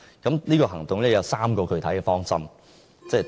這個行動方案有3個具體方針。